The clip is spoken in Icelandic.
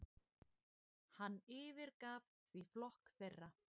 Hann yfirgaf því flokk þeirra.